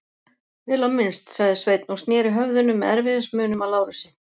Vel á minnst, sagði Sveinn og sneri höfðinu með erfiðismunum að Lárusi.